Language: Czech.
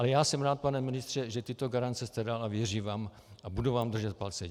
Ale já jsem rád, pane ministře, že tyto garance jste dal, a věřím vám a budu vám držet palce.